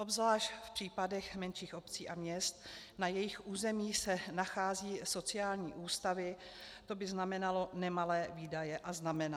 Obzvlášť v případech menších obcí a měst, na jejichž území se nacházejí sociální ústavy, to by znamenalo nemalé výdaje, a znamená.